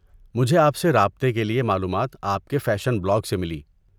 مجھے آپ سے رابطہ کے لیے معلومات آپ کے فیشن بلاگ سے ملی۔